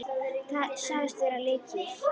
Sagðist vera með lykil.